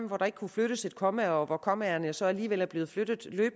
hvor der ikke kunne flyttes et komma og hvor kommaerne så alligevel er blevet flyttet